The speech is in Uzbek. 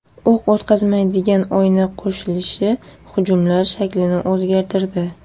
O‘q o‘tkazmaydigan oyna qo‘shilishi hujumlar shaklini o‘zgartirdi.